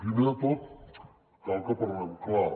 primer de tot cal que parlem clar